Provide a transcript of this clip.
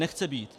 Nechce být.